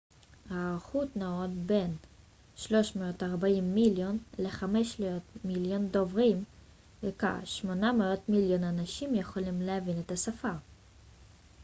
ההערכות נעות בין 340 מיליון ל-500 מיליון דוברים וכ-800 מיליון אנשים יכולים להבין את השפה